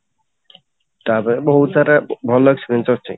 ତାପରେ ବହୁତ ସାରା ଭଲ ଜିନିଷ ଅଛି